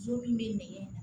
Jo min bɛ nɛgɛn